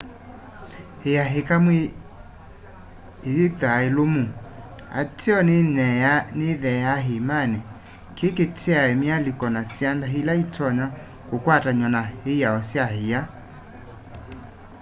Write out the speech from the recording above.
ia ikamu iyithwaa yiilumu ateo nĩyitheea ĩĩmanĩ kĩ kĩetae myalĩka na syanda ĩla ĩtonya kũkwatanywa na ĩao sya ĩa